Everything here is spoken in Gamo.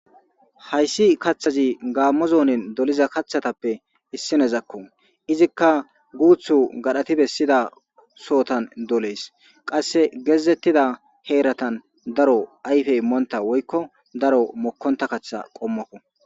hayssi kaththazi gaammo zoonin doliza kaththatappe issinezakko izikka guuthu gadhati bessida sootan dolees qasse geezettida heeratan daro ayfe immoonta woykko daro mokkonta kaththa qommokko